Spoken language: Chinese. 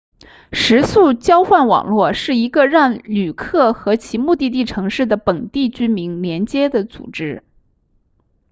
食宿交换网络是一个让旅客和其目的地城市的本地居民连接的组织